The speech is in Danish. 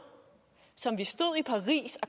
som vi stod i paris og